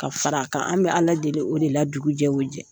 Ka fara a kan, anw be ala deli o de la dugu jɛ wo jɛ .